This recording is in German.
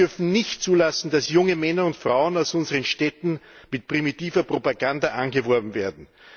Wir dürfen nicht zulassen, dass junge Männer und Frauen aus unseren Städten mit primitiver Propaganda angeworben werden.